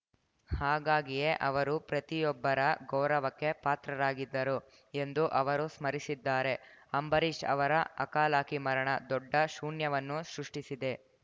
ಹಾಗಾಗಿಯೇ ಅವರು ಪ್ರತಿಯೊಬ್ಬರ ಗೌರವಕ್ಕೆ ಪಾತ್ರರಾಗಿದ್ದರು ಎಂದು ಅವರು ಸ್ಮರಿಸಿದ್ದಾರೆ ಅಂಬರೀಷ್‌ ಅವರ ಅಕಾಲಕಿ ಮರಣ ದೊಡ್ಡ ಶೂನ್ಯವನ್ನು ಸೃಷ್ಟಿಸಿದೆ